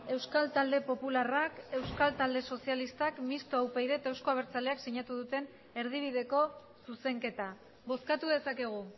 euskal talde popularrak euskal talde sozialistak mistoa upyd taldeak eta euzko abertzaleak sinatu duten erdibideko zuzenketa bozkatu dezakegu